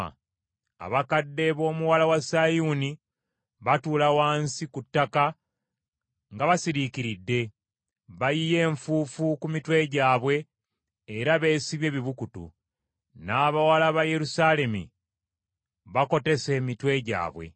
Abakadde b’Omuwala wa Sayuuni batuula wansi ku ttaka nga basiriikiridde; bayiye enfuufu ku mitwe gyabwe era beesibye ebibukutu; n’abawala ba Yerusaalemi bakotese emitwe gyabwe.